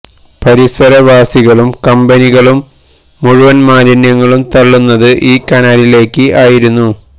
പരിസര വാസികളും കമ്പനികളും മുഴുവന് മാലിന്യങ്ങളും തള്ളുന്നത് ഈ കനാലിലേക്ക് ആയിരുന്നു